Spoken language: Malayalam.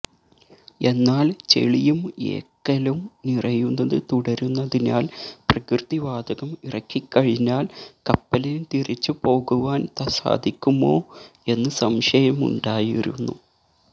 എന്നാല് ചെളിയും എക്കലും നിറയുന്നത് തുടരുന്നതിനാല് പ്രകൃതിവാതകം ഇറക്കിക്കഴിഞ്ഞാല് കപ്പലിന് തിരിച്ചുപോകുവാന് സാധിക്കുമോ എന്ന് സംശയമുണ്ടായിരുന്നു